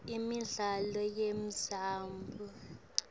imidlalo yemdzabu